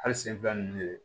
Hali sen fila nunnu de